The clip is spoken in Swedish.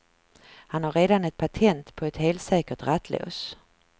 Han har redan ett patent på ett helsäkert rattlås.